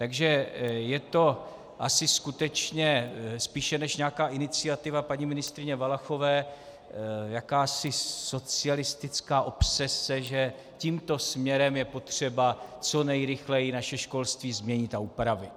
Takže je to asi skutečně spíše než nějaká iniciativa paní ministryně Valachové jakási socialistická obsese, že tímto směrem je potřeba co nejrychleji naše školství změnit a upravit.